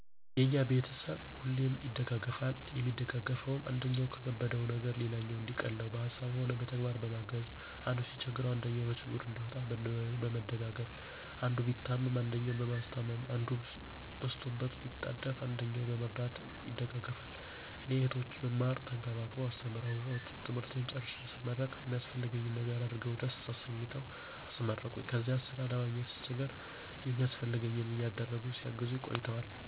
የኛ ቤተሰብ ሁሌም ይደጋገፋል የሚደጋገፈዉም, አንደኛዉ የከበደዉን ነገር ሌላኛዉ እንዲቀለዉ በሀሳብም ሆነ በተግባር በማገዝ፣ አንዱ ሲቸገር አንደኛዉ ከችግሩ እንዲወጣ በመደጋገፍ፣ አንዱ ቢታመም አንደኛዉ በማስታመም፣ አንዱ በስቶበት ቢጣደፍ አንደኛዉ በመርዳት ይደጋገፋሉ። እኔ "እህቶቼ ብማር ተንከባክበዉ አስተምረዉ ትምህርቴን ጨርሴ ስመረቅ የሚያስፈልገኝን ነገር አድርገዉ ደስ አሰኝተዉ አስመረቁኝ"ከዚያ ስራ ለማግኘት ስቸገር የሚያስፈልገኝን ነገር እያደረጉ ሲያግዙኝ ቆይተዋል።